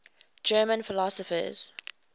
german philosophers